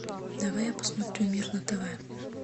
давай я посмотрю мир на тв